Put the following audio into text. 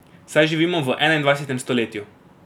Saj živimo v enaindvajsetem stoletju.